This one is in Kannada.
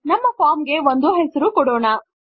ನಮ್ಮ ಫಾರ್ಮ್ ಗೆ ಒಂದು ಹೆಸರು ಕೊಡೋಣ